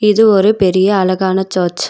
இது ஒரு பெரிய அழகான சர்ச் .